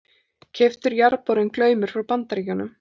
Keyptur jarðborinn Glaumur frá Bandaríkjunum.